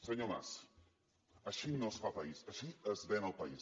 senyor mas així no es fa país així es ven el país